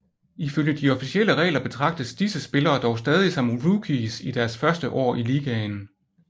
Ifølge de officielle regler betragtes disse spillere dog stadig som rookies i deres første år i ligaen